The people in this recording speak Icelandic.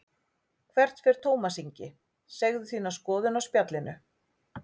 Hvert fer Tómas Ingi, segðu þína skoðun á Spjallinu